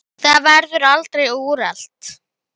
Það verður aldrei úrelt.